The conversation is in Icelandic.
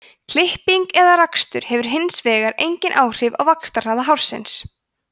klipping eða rakstur hefur hins vegar engin áhrif á vaxtarhraða hársins